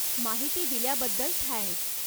माहिती दिल्याबद्दल थँक्स.